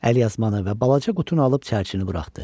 Əlyazmanı və balaca qutunu alıb çərçini buraxdı.